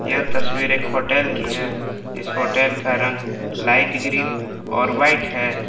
यह तस्वीर एक होटल की है इस होटल का रंग लाइट ग्रीन और वाइट है।